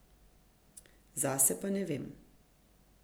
Zase pa ne vem.